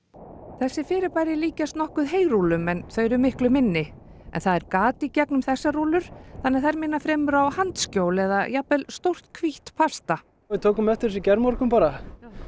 þessi fyrirbæri líkjast nokkuð heyrúllum en þau eru miklu minni en það er gat í gegnum þessar rúllur þannig að þær minna fremur á handskjól eða jafnvel stórt hvítt pasta við tókum eftir þessu í gærmorgun bara